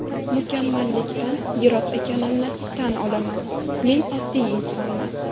Mukammallikdan yiroq ekanimni tan olaman, men oddiy insonman.